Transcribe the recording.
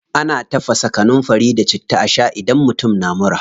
Ana tafasa kanunfari da citta a shaa idan mutum na mura.